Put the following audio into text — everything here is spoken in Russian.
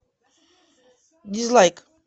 дизлайк